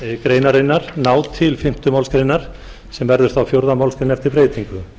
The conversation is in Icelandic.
greinarinnar ná til fimmtu málsgrein er verður fjórða málsgrein eftir breytingu